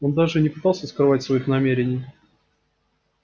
он даже и не пытается скрывать своих намерений